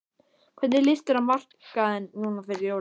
Hvernig lýst þér á markaðinn núna fyrir jólin?